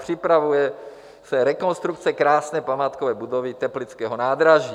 Připravuje se rekonstrukce krásné památkové budovy teplického nádraží.